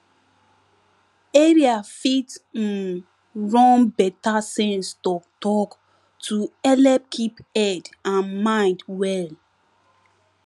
area fit um run better sense talktalk to helep keep head and mind well